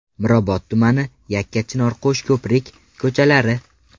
Mirobod tumani: Yakkachinor, Qo‘shko‘prik ko‘chalari.